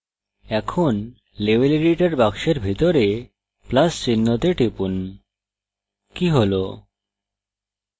এখন level editor box ভিতরে plus চিহ্নতে টিপুন কি হল